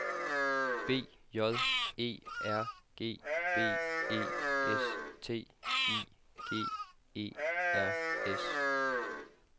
B J E R G B E S T I G E R S